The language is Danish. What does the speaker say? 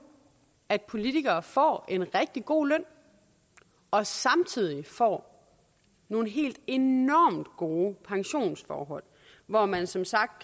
at politikere får en rigtig god løn og samtidig får nogle helt enormt gode pensionsforhold hvor man som sagt